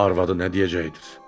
Arvadı nə deyəcəkdir?